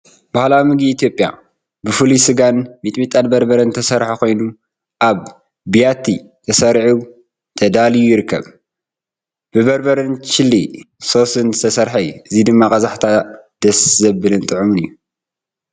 ባህላዊ ምግቢ ኢትዮጵያ ፣ ብፍሩይ ስጋን ሚጥሚጣን በርበረን ዝተሰርሐ ኮይኑ ኣብ ብያቲ ተሰሪዑ/ተዳልዩ ይርከብ። ብበርበረን ቺሊ ሶስን ዝተሰርሐ እዩ። እዚ ድማ ቀዛሕታ ደስ ዘብልን ጥዑምን እዩ።